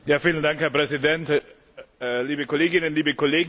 Herr Präsident, liebe Kolleginnen, liebe Kollegen!